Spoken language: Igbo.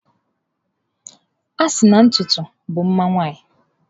A sina na ntutu bụ mma nwanyị.